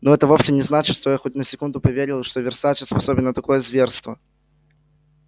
но это вовсе не значит что я хоть на секунду поверил что версаче способен на такое зверство